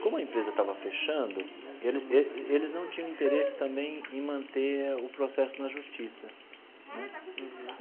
Como a empresa estava fechando, ele ele eles não tinham interesse também em manter o processo na justiça né.